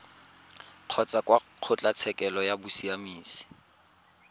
kgotsa kwa kgotlatshekelo ya bosiamisi